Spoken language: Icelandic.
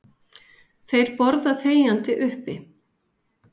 Þeir borða þegjandi uppi.